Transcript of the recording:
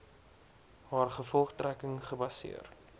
haar gevolgtrekking gebaseer